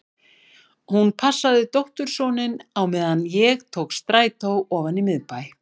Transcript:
Hún passaði dóttursoninn á meðan ég tók strætó ofan í miðbæ.